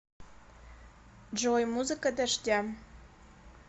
джой музыка дождя